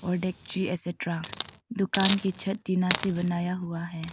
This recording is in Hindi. एकस्ट्रा दुकान की छत टीना से बनाया हुआ है।